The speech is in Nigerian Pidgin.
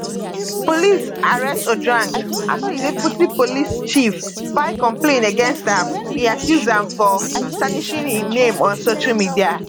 police arrest ojwang afta di deputy police chief file complain against am e accuse am of tarnishing im name on social media